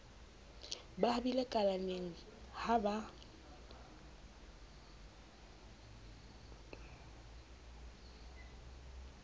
ba habile kalaneng ha ba